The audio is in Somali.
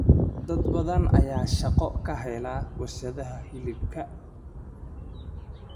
Dad badan ayaa shaqo ka hela warshadaha hilibka.